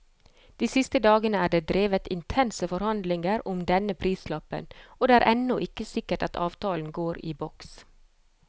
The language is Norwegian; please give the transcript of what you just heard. De siste dagene er det drevet intense forhandlinger om denne prislappen, og det er ennå ikke sikkert at avtalen går i boks.